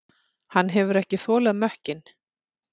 Hann hefur ekki þolað mökkinn.